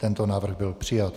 Tento návrh byl přijat.